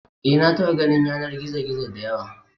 Eh, na taɓa ganin yanar gizo-gizo da yawa.